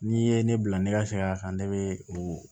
N'i ye ne bila ne ka segin a kan ne bɛ o